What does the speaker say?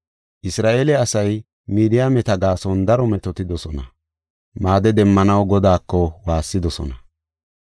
Isra7eele asay Midiyaameta gaason daro metootidosona; maade demmanaw Godaako waassidosona.